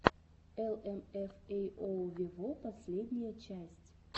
эл эм эф эй оу вево последняя часть